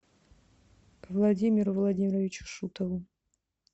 владимиру владимировичу шутову